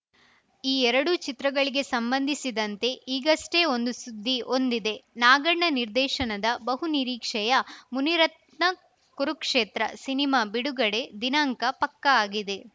ಈ ಎರಡೂ ಚಿತ್ರಗಳಿಗೆ ಸಂಬಂಧಿಸಿದಂತೆ ಈಗಷ್ಟೇ ಒಂದು ಸುದ್ದಿ ಒಂದಿದೆ ನಾಗಣ್ಣ ನಿರ್ದೇಶನದ ಬಹು ನಿರೀಕ್ಷೆಯ ಮುನಿರತ್ನ ಕುರುಕ್ಷೇತ್ರ ಸಿನಿಮಾ ಬಿಡುಗಡೆ ದಿನಾಂಕ ಪಕ್ಕಾ ಆಗಿದೆ